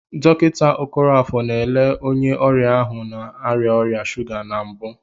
Dọkịta Okoroafor na-ele onye ọrịa ahụ na-arịa ọrịa shuga na mbụ.